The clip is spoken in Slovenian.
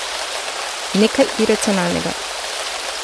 Nekaj iracionalnega.